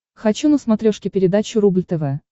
хочу на смотрешке передачу рубль тв